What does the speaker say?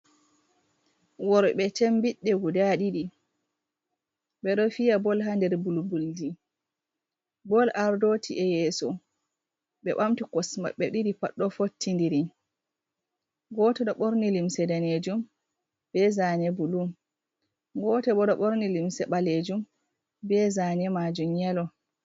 Worɓe chembiɗɗe guda ɗiɗi ɓeɗo fiya bol ha nder bulbuldi. Bol ardoti e'yeso ɓe ɓamti kosɗe maɓɓe ɗiɗi pad do fottidiri. Goto ɗo ɓorni limse danejum be zane bulu, goto bo ɗo ɓorni limse ɓalejum be zane majum yelo.